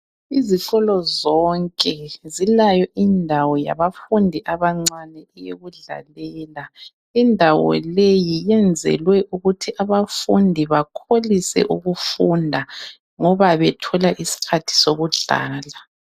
Izikolo zonke zilayo indawo yabafundi abancane eyokudlalela. Indawo leyi yenzelwe ukuthi abafundi bakholise ukufunda ngoba bethola iskhathi sokudlala.